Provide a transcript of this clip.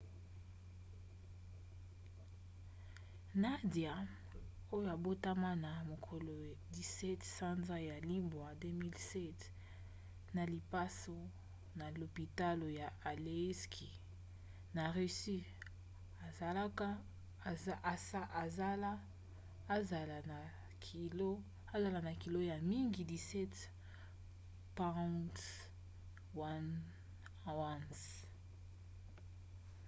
nadia oyo abotama na mokolo 17 sanza ya libwa 2007 na lipaso na lopitalo ya aleisk na russie azala na kilo ya mingi 17 pounds 1 ounce